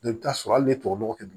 I bɛ taa sɔrɔ hali ni tubabu nɔgɔ kɛ